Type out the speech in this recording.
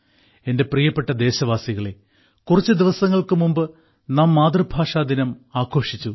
എന്റെ പ്രിയപ്പെട്ട ദേശവാസികളേ കുറച്ച് ദിവസങ്ങൾക്ക് മുമ്പ് നാം മാതൃഭാഷാ ദിനം ആഘോഷിച്ചു